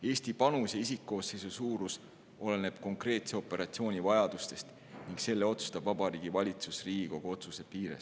Eesti panus ja isikkoosseisu suurus oleneb konkreetse operatsiooni vajadustest ning selle otsustab Vabariigi Valitsus Riigikogu otsuse piires.